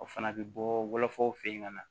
O fana bɛ bɔ wolofaw fɛ yen ka na